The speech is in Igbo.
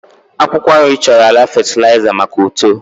akwụkwọ nri chọrọ ala fatịlaịza maka uto